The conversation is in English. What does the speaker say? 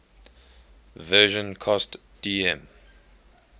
version cost dm